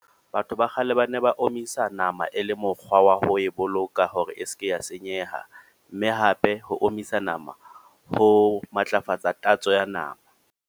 Batho ba kgale ba ne ba omisa nama e le mokgwa wa ho e boloka hore e seke ya senyeha. Mme hape ho omisa nama ho matlafatsa tatso ya nama.